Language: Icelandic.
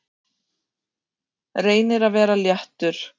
Reynir að vera léttur.